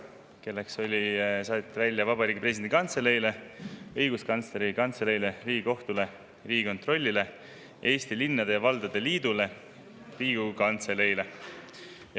saadeti välja Vabariigi Presidendi Kantseleile, Õiguskantsleri Kantseleile, Riigikohtule, Riigikontrollile, Eesti Linnade ja Valdade Liidule ning Riigikogu Kantseleile.